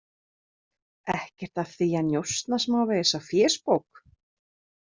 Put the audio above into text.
Ekkert að því að njósna smávegis á fésbók.